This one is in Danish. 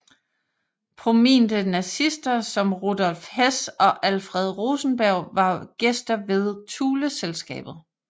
Prominte nazister som Rudolf Hess og Alfred Rosenberg var gæster ved Thuleselskabet